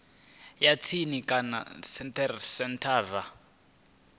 ya tsini kana kha senthara